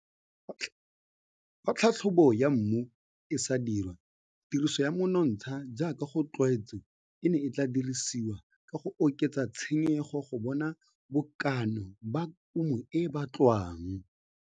Fa tlhatlhobo ya mmu e sa dirwa, tiriso ya monontsha jaaka go tlwaetswe e ne e tla dirisiwa ka go oketsa tshenyego go bona bokana ba kumo e e batlwang.